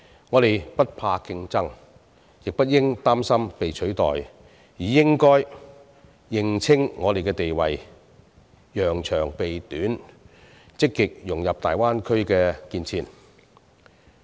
我們不怕競爭，亦不應擔心被取代，而應該認清我們的地位，揚長避短，積極融入大灣區的建設。